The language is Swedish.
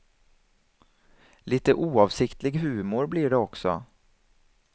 Lite oavsiktlig humor blir det också.